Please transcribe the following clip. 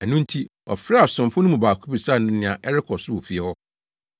Ɛno nti ɔfrɛɛ asomfo no mu baako bisaa no nea ɛrekɔ so wɔ fie hɔ.